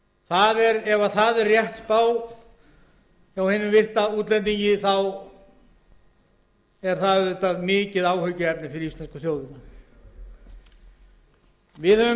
sagt er til næstu ára ef það er rétt spá hjá hinum virta útlendingi er það auðvitað mikið áhyggjuefni fyrir íslensku þjóðina við höfum